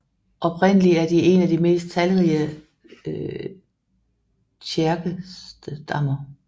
Oprindeligt er de en af de mest talrige tjerkesserstammer